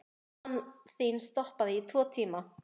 Mamma þín stoppaði í tvo tíma.